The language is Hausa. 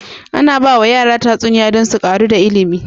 Ana bawa yara tatsuniya dan su ƙaru wa dani ilimin